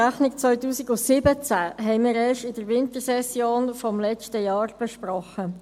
Die Rechnung 2017 besprachen wir erst in der Wintersession des letzten Jahres.